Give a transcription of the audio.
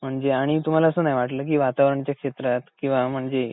म्हणजे आणि तुम्हाला असं नाही वाटलं कि वातावरणाच्या क्षेत्रात किंवा म्हणजे